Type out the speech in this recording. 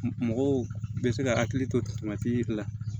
Mɔgɔw bɛ se ka hakili to la